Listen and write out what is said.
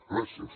gràcies